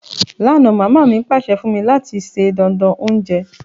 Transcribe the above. Lánà, mama mi pàsẹ fún mí láti se dánán ounje